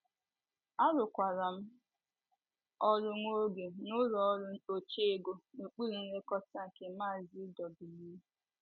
Arụkwara m ọrụ nwa oge n’ụlọ ọrụ oche ego n’okpuru nlekọta nke maazi W.